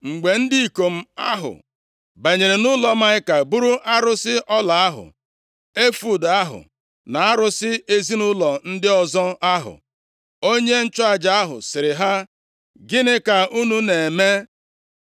Mgbe ndị ikom ahụ banyere nʼụlọ Maịka buru arụsị ọla ahụ, efọọd ahụ na arụsị ezinaụlọ ndị ọzọ ahụ, onye nchụaja ahụ sịrị ha, “Gịnị ka unu na-eme?”